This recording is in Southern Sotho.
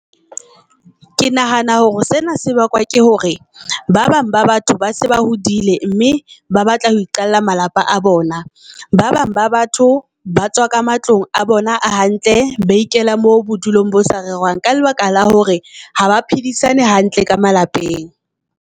Ke nahana hore sena se bakwa ke hore ba bang ba batho ba se ba hodile mme ba batla hoe qalla malapa a bona. Ba bang ba batho ba tswa ka matlong a bona hantle, ba ikela mo bo dulong bo sa rerwang. Ka lebaka la hore ha ba phedisana hantle ka malapeng.